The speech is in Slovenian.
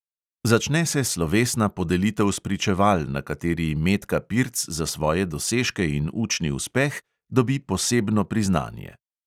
Začne se slovesna podelitev spričeval, na kateri metka pirc za svoje dosežke in učni uspeh dobi posebno priznanje.